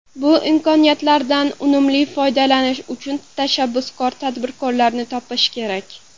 Bu imkoniyatlardan unumli foydalanish uchun tashabbuskor tadbirkorlarni topish kerak.